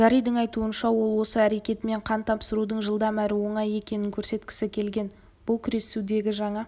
гарридің айтуынша ол осы әрекетімен қан тапсырудың жылдам әрі оңай екенін көрсеткісі келген бұл күресудегі жаңа